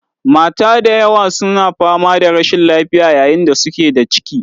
Mata da yawa su na fama da rashin lafiya yayin da suke da ciki